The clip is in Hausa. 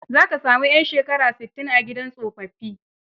Za ka sami 'yan shekara sittin, a gidan tsofaffi.